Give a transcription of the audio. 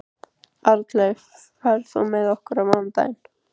Arnleif, ferð þú með okkur á mánudaginn?